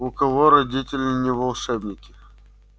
у кого родители не волшебники